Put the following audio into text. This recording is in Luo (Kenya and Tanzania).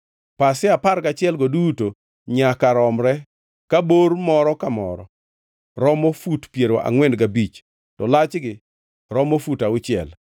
Pasia apar gachielgo duto nyaka romre ka bor moro ka moro romo fut piero angʼwen gabich to lachgi romo fut auchiel.